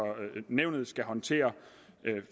nævnet skal håndtere